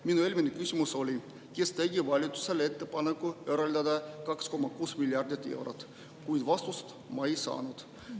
Minu eelmine küsimus oli, kes tegi valitsusele ettepaneku eraldada 2,6 miljardit eurot, kuid vastust ma ei saanud.